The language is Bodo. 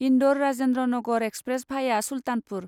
इन्दौर राजेन्द्रनगर एक्सप्रेस भाया सुलतानपुर